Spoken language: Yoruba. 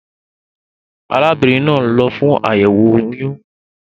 Arábínrin naa n lo fún àyèwò oyún